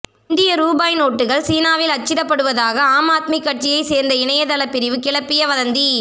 இந்திய ரூபாய் நோட்டுகள் சீனாவில் அச்சிடப்படுவதாக ஆம் ஆத்மி கட்சியை சேர்ந்த இணையதள பிரிவு கிளப்பிய வதந்தி